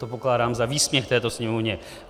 To pokládám za výsměch této Sněmovně.